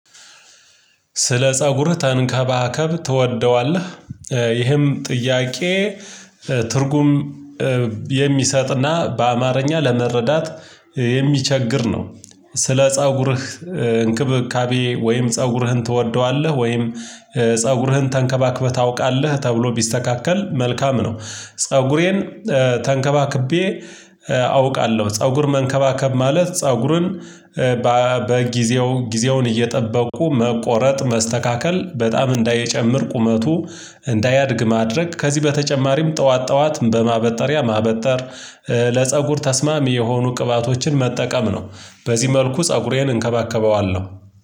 ስለ ፀጉርህ ተንከባከብ ትወደዋለህ? ይህም ጥያቄ ትርጉም የሚሰጥና በአማርኛ ለመረዳት የሚቸግር ነው። ስለ ፀጉርህ እንክብካቤ ወይም ፀጉርህን ትወደዋለህ ወይም ፀጉርህን ተንከባክበህ ታውቃለህ ተብሎ ቢስተካከል መልካም ነው። ፀጉሬን ተንከባክቤ አውቃለሁ። ፀጉር መንከባከብ ማለት ፀጉርን በጊዜው ጊዜውን እየጠበቁ መቆረጥ መስተካከል በጣም እንዳይጨምር ቁመቱ እንዳያድግ ማድረግ ከዚህ በተጨማሪም ጠዋት ጠዋት በማበጠሪያ ማበጠር ለፀጉር ተስማም የሆኑ ቅባቶችን መጠቀም ነው። በዚህ መልኩ ፀጉሬን እንከባከበዋለሁ